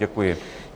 Děkuji.